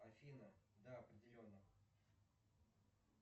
афина да определенно